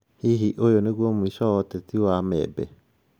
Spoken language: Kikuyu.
Hihi ũyũ nĩguo mũico wa ũteti wa Membe?